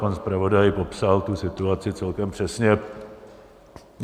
Pan zpravodaj popsal tu situaci celkem přesně.